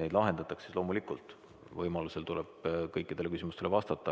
neid lahendatakse, siis võimaluse korral tuleb kõikidele küsimustele vastata.